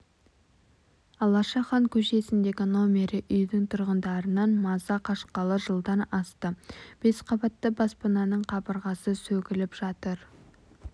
алаша хан көшесіндегі номері үйдің тұрғындарынан маза қашқалы жылдан асты бес қабатты баспананың қабырғасы сөгіліп жатыр